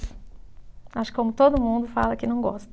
Acho que como todo mundo fala que não gosta.